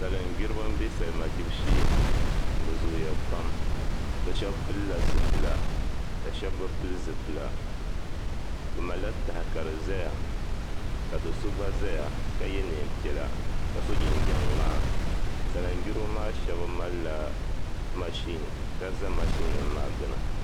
isa-lingbiriba m-be salima gbibu shee bɛ zooya pam bɛ shɛba pilila zipila ka shɛba bi pili zipila bɛ malila taha ka di zaya ka do' so gba zaya ka ye neem' piɛla ka so jinjam ŋmaa- sali-ngbiriba maa shɛba malila mashin- ka za mashinnima maa gbuni